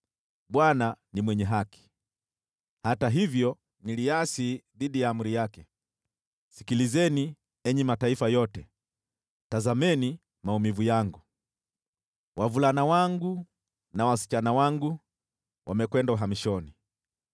“ Bwana ni mwenye haki, hata hivyo niliasi dhidi ya amri yake. Sikilizeni, enyi mataifa yote, tazameni maumivu yangu. Wavulana wangu na wasichana wangu wamekwenda uhamishoni.